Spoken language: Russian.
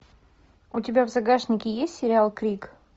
у тебя в загашнике есть сериал крик